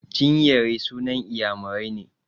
Chinyere sunan Inyamurai ne.